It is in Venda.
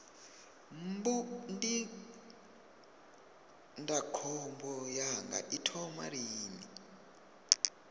mbu ndindakhombo yanga i thoma lini